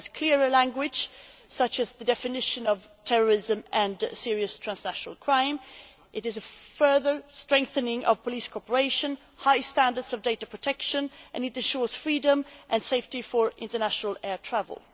It has clearer language, such as the definition of terrorism and serious transnational crime, it is a further strengthening of police cooperation, with high standards of data protection and it ensures freedom and safety for international air travel.